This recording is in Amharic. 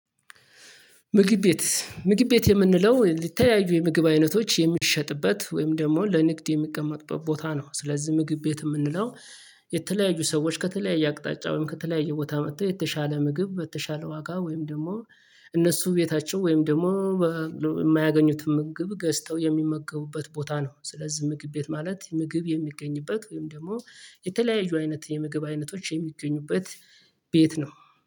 ምግብ ቤት ምግብ ቤት የምንለው የተለያዩ የምግብ አይነቶች የሚሸጥበት ወይም ደግሞ ለንግድ የሚቀመጥበት ቦታ ነው። ስለዚህ ምግብ ቤት የምንለው ምግብ ቤት ምግብ ቤት የምንለው የተለያዩ የምግብ አይነቶች የሚሸጥበት። ወይም ደግሞ ለንግድ የሚቀመጥበት ቦታ ነው። ስለዚህ ምግብ ቤት የምንለው የተለያዩ አይነት የምግብ አይነቶች የሚገኙበት ቤት ነው